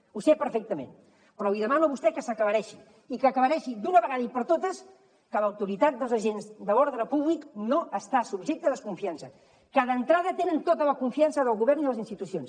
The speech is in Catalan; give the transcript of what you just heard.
ho sé perfectament però li demano a vostè que s’aclareixi i que aclareixi d’una vegada per totes que l’autoritat dels agents de l’ordre públic no està subjecta a desconfiança que d’entrada tenen tota la confiança del govern i de les institucions